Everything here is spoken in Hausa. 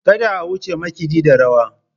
Kada a wuce makaɗi da rawa.